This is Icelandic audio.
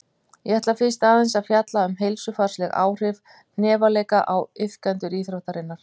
Ég ætla fyrst aðeins að fjalla um heilsufarsleg áhrif hnefaleika á iðkendur íþróttarinnar.